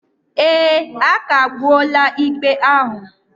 Ee, a kagbuola ikpe ahụ